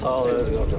Sağ ol qardaş.